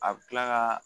A bɛ tila ka